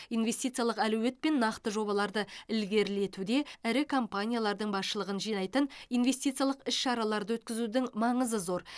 инвестиициялық әлеует пен нақты жобаларды ілгерілетуде ірі компаниялардың басшылығын жинайтын инвестициялық іс шараларды өткізудің маңызы зор